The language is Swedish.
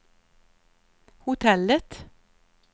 hotellet